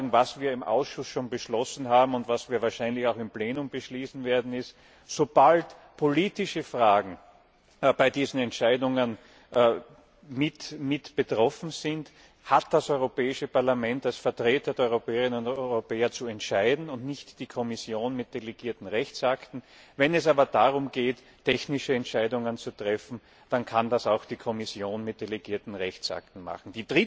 Was wir im Ausschuss schon beschlossen haben und was wir wahrscheinlich auch im Plenum beschließen werden, ist im Wesentlichen Sobald politische Fragen bei diesen Entscheidungen mit betroffen sind, hat das Europäische Parlament als Vertreter der Europäerinnen und Europäer zu entscheiden, und nicht die Kommission mit delegierten Rechtsakten. Wenn es aber darum geht, technische Entscheidungen zu treffen, dann kann das auch die Kommission mit delegierten Rechtsakten tun.